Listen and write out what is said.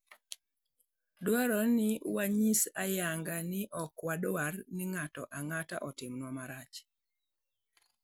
Dwarore ni wanyis ayanga ni ok wadwar ni ng'ato ang'ata otimnwa marach.